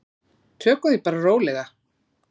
Tökum því bara rólega.